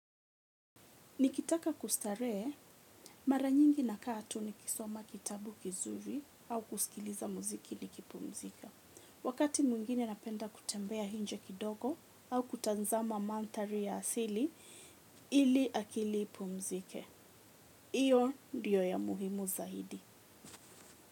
Nikitaka kustarehe, mara nyingi nakaa tu nikisoma kitabu kizuri au kusikiliza muziki nikipumzika. Wakati mwingine napenda kutembea nje kidogo au kutazama mandhari ya asili ili akili ipumzike. Iyo ndiyo ya muhimu zaidi.